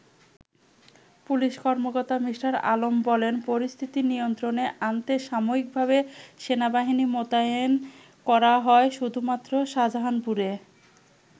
Police কর্মকর্তা মি. আলম বলেন, পরিস্থিতি নিয়ন্ত্রণে আনতে সাময়িকভাবে সেনাবাহিনী মোতায়েন করা হয় শুধুমাত্র শাহজাহানপুরে।